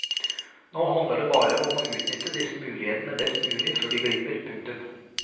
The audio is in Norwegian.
Nå handler det bare om å utnytte disse mulighetene best mulig før de glipper. punktum